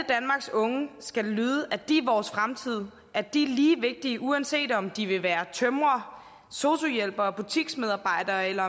unge skal det lyde at de er vores fremtid at de er lige vigtige uanset om de vil være tømrere sosu hjælpere eller butiksmedarbejdere eller